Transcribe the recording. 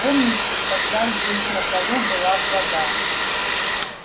помните тогда здесь на полу была вода